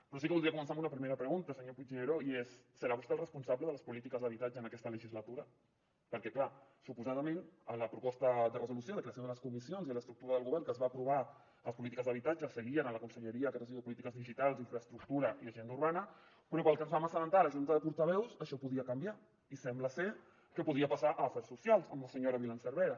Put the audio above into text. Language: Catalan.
però sí que voldria començar amb una primera pregunta senyor puigneró i és serà vostè el responsable de les polítiques d’habitatge en aquesta legislatura perquè clar suposadament en la proposta de resolució de creació de les comissions i de l’estructura del govern que es va aprovar les polítiques d’habitatge seguien a la conselleria que ara es diu de polítiques digitals infraestructura i agenda urbana però pel que ens vam assabentar a la junta de portaveus això podia canviar i sembla ser que podia passar a drets socials amb la senyora violant cervera